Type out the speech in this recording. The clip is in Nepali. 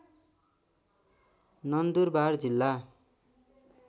नन्दुरबार जिल्ला